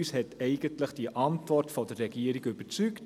Uns hat eigentlich die Antwort der Regierung überzeugt.